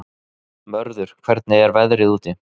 Mörður, hvernig er veðrið úti?